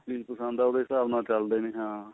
ਚੀਜ਼ ਪਸੰਦ ਹੈ ਉਹਦੇ ਹਿਸਾਬ ਨਾਲ ਚੱਲਦੇ ਨੇ ਹਾਂ